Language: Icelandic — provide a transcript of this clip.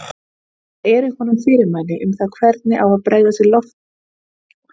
Það eru í honum fyrirmæli um það hvernig á að bregðast við í loftárás!